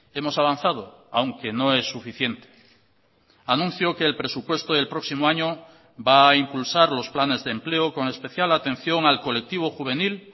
hemos avanzado aunque no es suficiente anuncio que el presupuesto del próximo año va a impulsar los planes de empleo con especial atención al colectivo juvenil